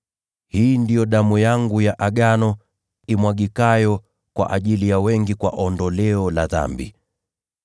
Hii ndiyo damu yangu ya Agano, imwagikayo kwa ajili ya wengi kwa ondoleo la dhambi.